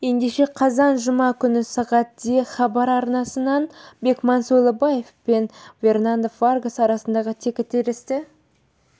ендеше қазан жұма күні сағат де хабар арнасынан бекман сойлыбаев пен фернандо варгас арасындағы текітіресті